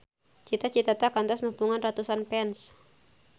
Cita Citata kantos nepungan ratusan fans